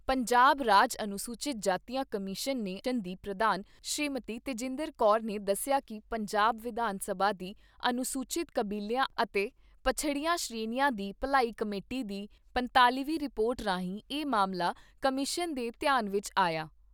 ਪੰਜਾਬ ਰਾਜ ਅਨੁਸੂਚਿਤ ਜਾਤੀਆਂ ਕਮਿਸ਼ਨ ਦੀ ਪ੍ਰਧਾਨ ਸ੍ਰੀਮਤੀ ਤੇਜਿੰਦਰ ਕੌਰ ਨੇ ਦੱਸਿਆ ਕਿ ਪੰਜਾਬ ਵਿਧਾਨ ਸਭਾ ਦੀ ਅਨੁਸੂਚਿਤ ਕਬੀਲਿਆਂ ਅਤੇ ਪਛੜੀਆਂ ਸ੍ਰੇਣੀਆਂ ਦੀ ਭਲਾਈ ਕਮੇਟੀ ਦੀ ਪੰਤਾਲ਼ੀ ਵੀਂ ਰਿਪੋਰਟ ਰਾਹੀਂ ਇਹ ਮਾਮਲਾ ਕਮਿਸ਼ਨ ਦੇ ਧਿਆਨ ਵਿੱਚ ਆਇਆ।